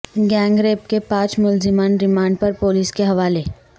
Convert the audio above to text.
gang rape کے پانچ ملزمان ریمانڈ پر پولیس کے حوالے